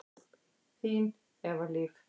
Þín, Eva Líf.